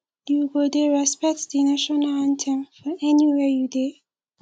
you go dey respect di national anthem for anywhere you dey